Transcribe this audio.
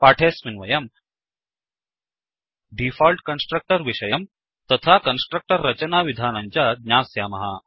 पाठेऽस्मिन् वयम् default constructor विषयम् तथा कन्स्ट्रच्टर् रचनाविधानं च ज्ञास्यामः